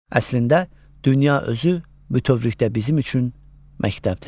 Əslində dünya özü bütövlükdə bizim üçün məktəbdir.